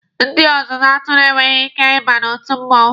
Ndị ọzụzụ atụrụ enweghị ike ịba n'otu mmụọnwụ.